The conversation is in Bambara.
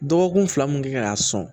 Dɔgɔkun fila mun kan k'a sɔn